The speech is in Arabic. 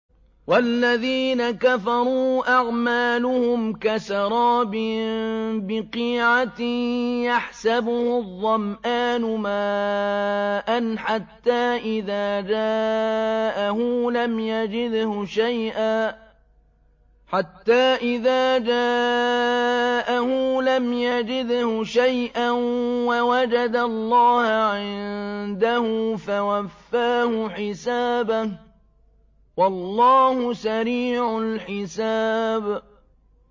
وَالَّذِينَ كَفَرُوا أَعْمَالُهُمْ كَسَرَابٍ بِقِيعَةٍ يَحْسَبُهُ الظَّمْآنُ مَاءً حَتَّىٰ إِذَا جَاءَهُ لَمْ يَجِدْهُ شَيْئًا وَوَجَدَ اللَّهَ عِندَهُ فَوَفَّاهُ حِسَابَهُ ۗ وَاللَّهُ سَرِيعُ الْحِسَابِ